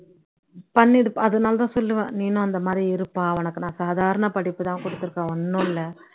பண்ணிடு அதனால தான் சொல்லுவேன் நீனும் அந்த மாதிரி இருப்பா உனக்கு நான் சாதாரண படிப்பு தான் கொடுத்துருகேன், ஒண்ணும் இல்ல